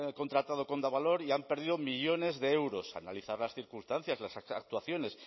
contratado valor y han perdido millónes de euros analizar las circunstancias las actuaciones